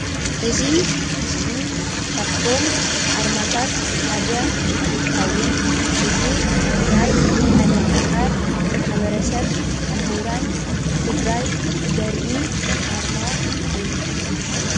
እዚ ምስሊ ካብቶም ኣርማታት ሓደ እንትከውን እዚ ናይ ዓለም ለከ ማሕበረ ሰብ ሙሁራን ትግራይ ዘርኢ ኣርማ እዩ፡፡